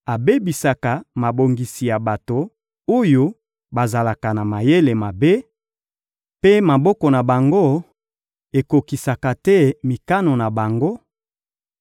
abebisaka mabongisi ya bato oyo bazalaka na mayele mabe, mpe maboko na bango ekokisaka te mikano na bango;